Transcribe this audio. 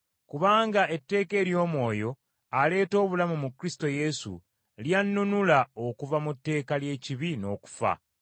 Kubanga etteeka ery’Omwoyo aleeta obulamu mu Kristo Yesu, lyannunula okuva mu tteeka ly’ekibi n’okufa.